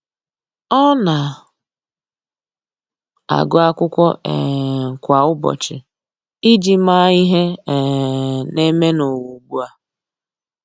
Ọ́ na agụ́ ákwụ́kwọ́ um kwa ụ́bọ̀chị̀ iji màá ihe um nà-ème n’ụ́wà ugbu a.